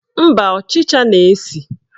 Mba, ọchịcha na-esi